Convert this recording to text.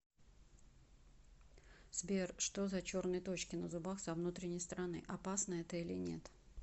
сбер что за черные точки на зубах со внутренней стороны опасно это или нет